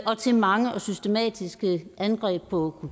til mange og systematiske angreb på